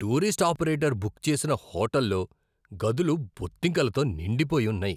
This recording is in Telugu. టూరిస్ట్ ఆపరేటర్ బుక్ చేసిన హోటల్లో గదులు బొద్దింకలతో నిండిపోయి ఉన్నాయి.